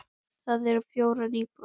Þar eru fjórar íbúðir.